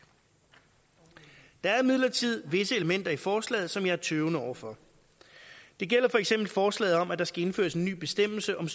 der er imidlertid visse elementer i forslaget som jeg er tøvende over for det gælder for eksempel forslaget om at der skal indføres en ny bestemmelse om